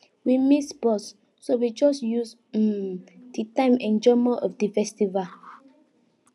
we miss bus so we just use um the time enjoy more of di festival